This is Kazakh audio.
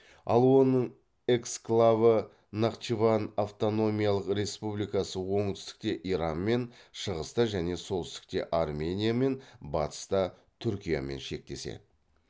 ал оның эксклавы нахчыван автономиялық республикасы оңтүстікте иранмен шығыста және солтүстікте армениямен батыста түркиямен шектеседі